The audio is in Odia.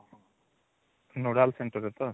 nodal centre ଏଥର ତ